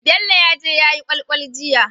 Bello yaje yayi kwal kwal jiya